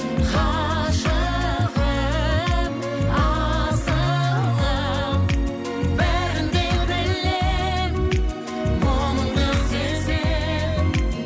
ғашығым асылым бәрін де білемін мұңыңды сеземін